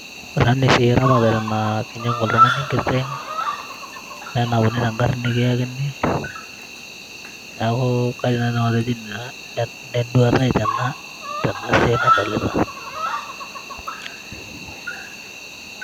Ore ena naa esiai eramatare naa, kinyang'u oltung'ani enkiteng',nenapuni tegarri nikiakini, neeku kaidim nai ake nanu atejo ina enduata ai tena siai nadolita.